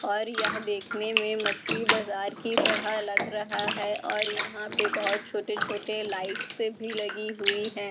और यहां देखने में मछली बाजार की तरह लग रहा है और यहां पे बहुत छोटे छोटे लाइट्स भी लगी हुई हैं।